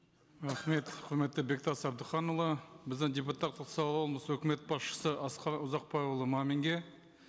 рахмет құрметті бектас әбдіханұлы біздің депутаттық сауалымыз өкімет басшысы асқар ұзақбайұлы маминге